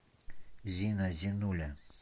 зина зинуля